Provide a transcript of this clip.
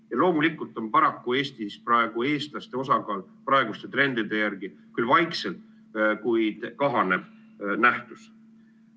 Ja paraku on Eestis eestlaste osakaal praeguste trendide järgi küll vaikselt, kuid siiski kahanev nähtus.